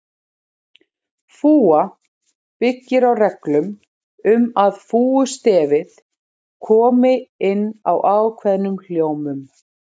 Fúga byggir á reglum um að fúgustefið komi inn á ákveðnum hljómum.